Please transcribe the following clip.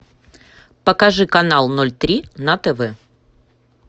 покажи канал ноль три на тв